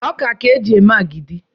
Ọkà ka eji eme agidi.